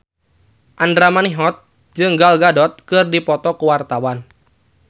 Andra Manihot jeung Gal Gadot keur dipoto ku wartawan